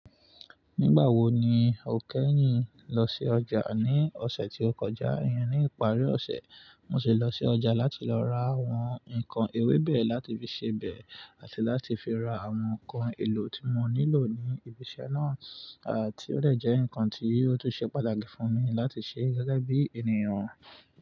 Nígbà wo ni o kẹ́yìn lọ sí ọjà? Ní ọ̀sẹ̀ tí ó kọjá, ìyẹn ni ìparí ọ̀sẹ̀, mo sì lọ sí ọjà láti lọ ra àwọn nǹkan ewébẹ̀ láti fi sebẹ̀ àti láti fi ra àwọn nǹkan èlò tí mo nílò ní ibi iṣẹ́ náà, à tí ó dè jẹ́ ǹkan tí ó tún ṣe pàtàkì fún mi láti ṣe gẹ́gẹ́ bí ènìyàn.